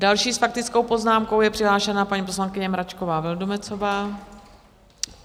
Další s faktickou poznámkou je přihlášena paní poslankyně Mračková Vildumetzová.